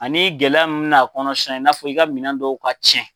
Ani gɛlɛya mun mɛ na a kɔnɔona sisan i n'a fɔ i ka minɛn dɔw ka cɛn.